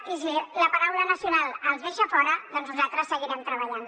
i si la paraula nacional els deixa fora nosaltres seguirem treballant